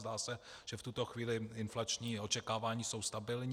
Zdá se, že v tuto chvíli inflační očekávání jsou stabilní.